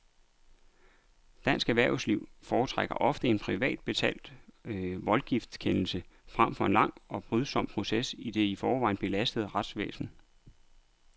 Dansk erhvervsliv foretrækker ofte en privat betalt voldgiftskendelse frem for en lang og brydsom proces i det i forvejen belastede retsvæsen.